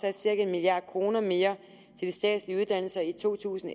altså en milliard kroner mere i to tusind